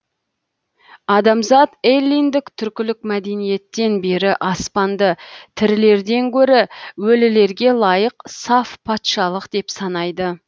адамзат эллиндік түркілік мәдениеттен бері аспанды тірілерден гөрі өлілерге лайық саф патшалық деп санайды